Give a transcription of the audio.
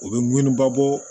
U bɛ munni ba bɔ